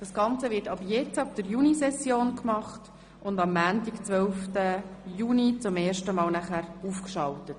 Das Ganze wird ab jetzt, der Junisession, gemacht und am Montag, 12. Juni, zum ersten Mal aufgeschaltet.